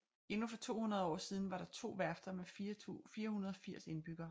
Endnu for 200 år siden var der to værfter med 480 indbyggere